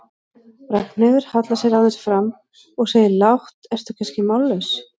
Ragnheiður hallar sér aðeins fram og segir lágt, ertu kannski mállaus?